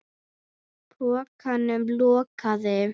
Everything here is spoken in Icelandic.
Pokanum lokað.